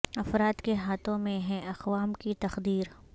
افراد کے ہا تھوں میں ہے اقوام کی تقدیر